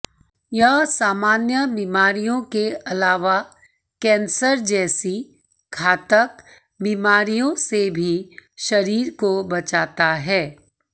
यह सामान्य बीमारियों के अलावा कैंसर जैसी घातक बीमारियों से भी शरीर को बचाता है